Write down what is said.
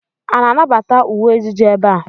A na-anabata uwe ejiji ebe a?